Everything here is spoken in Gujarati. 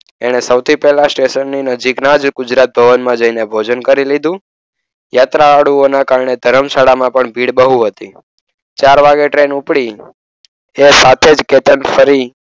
એણે સૌથી પહેલા સ્ટેશનની નજીકના જ ગુજરાત ભવનમાં જઈને ભોજન કરી લીધું. યાત્રાળુઓના કારણે ધર્મશાળામાં પણ ભીડ બહુ હતી. ચાર વાગે ટ્રેન ઉપડી તે સાથે જ કેતન ફરી,